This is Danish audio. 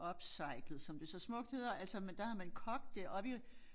Upcyclet som det så smukt hedder altså men der har man kogt det og vi